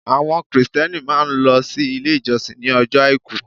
Àwọn Kristẹni máa n lọ sí Ilé ìjọsìn ní ojọ́ Àìkú